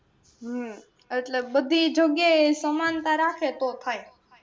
હમ એટલે બધી જગયા એ સમાનતા રાખે તો થાય.